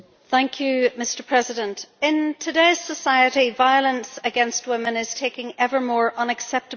Mr President, in today's society, violence against women is taking ever more unacceptable forms.